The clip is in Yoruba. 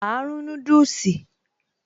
Áá rún núdùsì